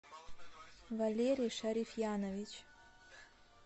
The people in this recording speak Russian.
валерий шарифьянович